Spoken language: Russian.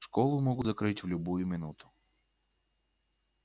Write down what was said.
школу могут закрыть в любую минуту